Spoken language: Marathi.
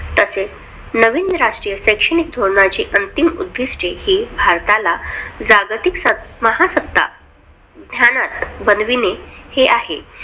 तसेच नवीन राष्ट्रीय शैक्षणिक धोरणयाची अंतिम उद्दिष्टे हे भारताला जागतिक सत महासत्ता बनवणे हे आहे.